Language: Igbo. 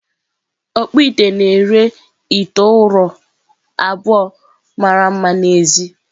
Ọkpụite na-ere ite ụrọ abụọ mara mma n’èzí.